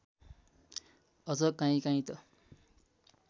अझ कहीँकहीँ त